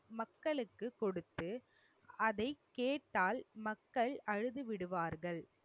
மக்களுக்கு கொடுத்து அதை கேட்டால் மக்கள் அழுது விடுவார்கள்.